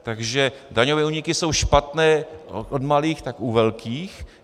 Takže daňové úniky jsou špatné od malých tak u velkých.